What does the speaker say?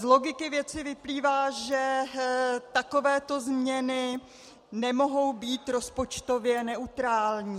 Z logiky věci vyplývá, že takovéto změny nemohou být rozpočtově neutrální.